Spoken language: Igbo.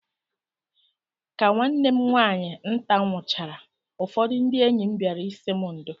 Ka nwanne m nwaanyị nta nwụchaara, ụfọdụ ndị enyi m bịara ịsị m ndo